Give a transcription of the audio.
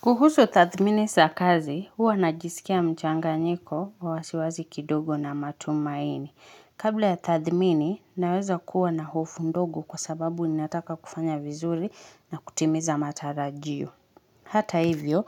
Kuhusu tathimini za kazi, huwa najisikia mchanganyiko wa wasiwasi kidogo na matumaini. Kabla ya tathmini, naweza kuwa na hofu ndogo, kwa sababu ninataka kufanya vinzuri na kutimiza matarajio. Hata hivyo,